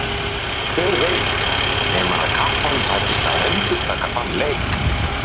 Hver veit nema að kappanum takist að endurtaka þann leik?